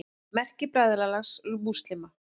Merki Bræðralags múslíma.